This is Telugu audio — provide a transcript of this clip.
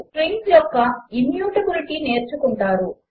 6 స్ట్రింగ్స్ యొక్క ఇమ్యూటబిలిటీ నేర్చుకుంటారు